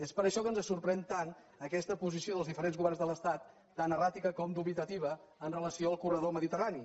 és per això que ens sorprèn tant aquesta posició dels diferents governs de l’estat tan erràtica com dubitativa amb relació al corredor mediterrani